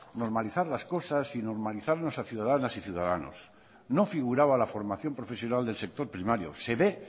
normalizar las cosas y normalizar a ciudadanas y ciudadanos no figuraba la formación profesional del sector primario se ve